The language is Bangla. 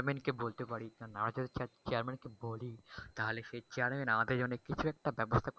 চেয়ারম্যান কে বলতে পারি না যদি chairman কে বলি তাহলে সে chairman আমাদের জন্য কিছু একটা ব্যবস্থা করতে পারে।